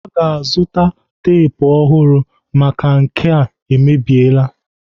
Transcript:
Aga azụta tep ọhụrụ maka nke a emebiela.